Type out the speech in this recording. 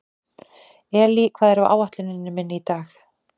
Elí, hvað er á áætluninni minni í dag?